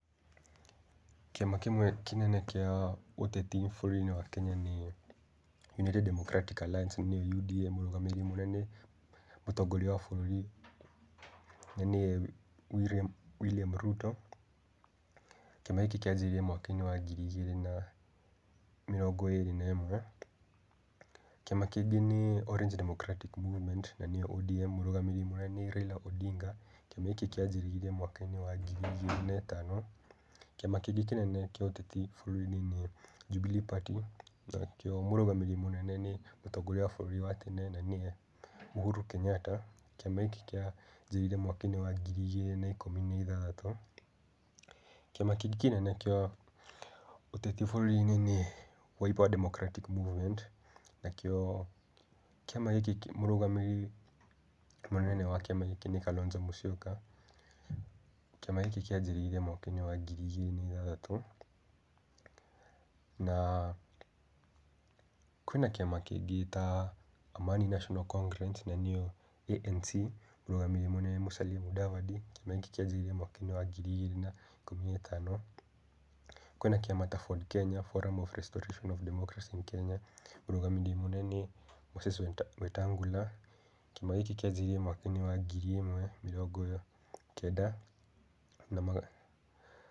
Kĩama kĩmwe kĩnene kĩa ũteti bũrũri-inĩ wa Kenya nĩ United Democratic Alliance nĩyo UDA. Mũrũgamĩrĩri mũnene mũtongoria wa bũrũri na nĩye William William Ruto. Kĩama gĩkĩ kĩanjĩrĩirie mwaka-inĩ wa ngiri igĩrĩ na mĩrongo ĩrĩ na ĩmwe. Kĩama kĩngĩ nĩ Orange Democratic Movement na nĩyo ODM, mũrũgamĩrĩri mũnene nĩ Raila Odinga. Kĩama gĩkĩa kĩanjĩrĩirie mwaka wa ngiri igĩrĩ na ĩtano. Kĩama kĩngĩ kĩenene kĩa ũteti bũrũri-inĩ nĩ Jubilee Party, nakĩo mũrũgamĩrĩri mũnene nĩ mũtongoria wa bũrũri wa tene na nĩye Uhuru Kenyatta. Kĩama gĩkĩ kĩanjĩrĩirie mwaka-inĩ wa ngiri igĩrĩ na ikũmi na ithathatũ. Kĩama kĩngĩ kĩnene kĩa ũteti bũrũri-inĩ nĩ Wiper Democratic Movement, nakĩo kĩama gĩkĩ mũrũgamĩrĩri mũnene wa kĩama gĩkĩ nĩ Kalonzo Mũsyoka, kĩama gĩkĩ kĩanjĩrĩirie mwaka wa ngiri igĩrĩ na ithathatũ. Na kwĩna kĩama kĩngĩ ta Amani Nationa Congress na nĩyo ANC, mũrũgamĩrĩri mũnene mũnene nĩ Mũsalia Mũdavadi, kĩama gĩkĩ kĩanjĩrĩire mwaka wa ngiri igĩrĩ na ikũmi na ĩthano. Kwĩna kĩama ta FORD Kenya, Forum Restoration of Kenya mũrũgamĩrĩri mũnene nĩ Moses Wetangula. Kĩama gĩkĩ kĩanjĩrĩirie mwaka-inĩ wa ngiri ĩmwe, mĩrongo kenda na magana